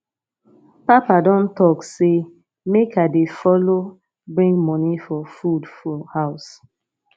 papa don talk sey make i dey folo bring money for food for house